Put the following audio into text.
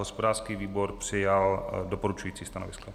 Hospodářský výbor přijal doporučující stanovisko.